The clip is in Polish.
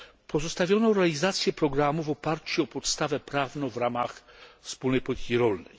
Pozostawiono realizację programu w oparciu o podstawę prawną w ramach Wspólnej Polityki Rolnej.